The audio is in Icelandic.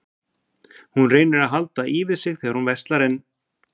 Hún reynir að halda í við sig þegar hún verslar en